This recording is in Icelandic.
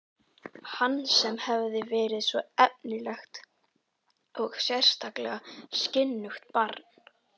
Hann sem hafði verið svo efnilegt og sérstaklega skynugt barn.